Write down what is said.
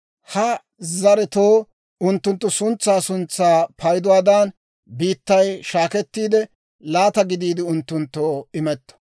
«Ha zaretoo unttunttu suntsaa suntsaa payduwaadan biittay shaakettiide, laata gidiide unttunttoo imetto.